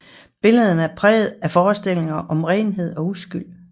Billederne var præget af forestillinger om renhed og uskyld